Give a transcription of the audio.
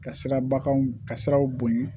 Ka sira bakanw ka siraw bonya